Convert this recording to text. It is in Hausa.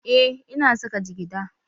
Eh, ina saka jigida